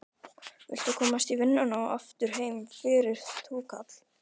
Viltu komast í vinnuna og aftur heim fyrir túkall?